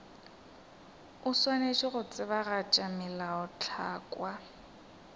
o swanetše go tsebagatša melaotlhakwa